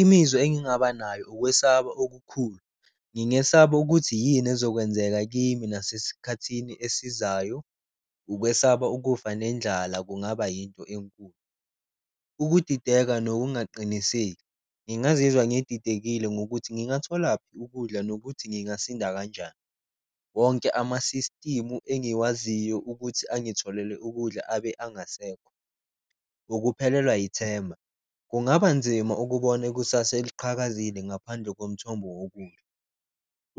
Imizwa engingaba nayo ukwesaba okukhulu ngingesaba ukuthi yini ezokwenzeka kimi nase sikhathini esizayo, ukwesaba, ukufa nendlala kungaba yinto enkulu. Ukudideka nokungaqiniseki, ngingazizwa ngididekile ngokuthi ngingatholaphi ukudla nokuthi ngingasinda kanjani, wonke amasisitimu engiwaziyo ukuthi engitholele ukudla abe angasekho. Ukuphelelwa yithemba, kungaba nzima ukubona ikusasa eliqhakazile ngaphandle komthombo wokudla,